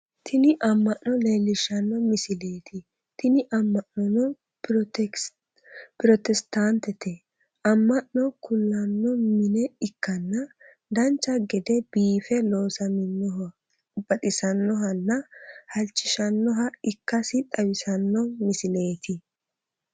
tini amma'no leellishshanno misileeti tini amma'nono pirotestaantete amma'no kulanno mine ikkanna dancha gede biife loosaminoha baxisannohanna halchishsannoha ikkasi xawissanno misileeti